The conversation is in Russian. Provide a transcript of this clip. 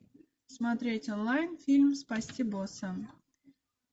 смотреть онлайн фильм спасти босса